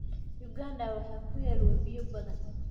Uganda waxaa ku yaal webiyo badan.